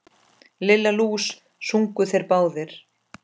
Lilla lús! sungu þeir báðir.